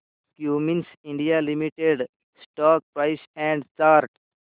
Cummins India limited stock price and chart